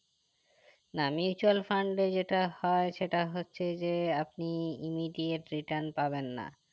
না mutual fund এ যেটা হয় সেটা হচ্ছে যে আপনি immediate return পাবেন না